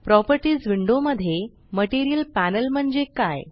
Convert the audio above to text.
properties window मध्ये material panel म्हणजे काय